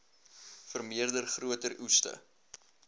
vermeerder groter oeste